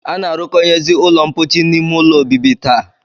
A na-arụkọnyezi ụlọmkpochi n'ime ụlọ obibi taa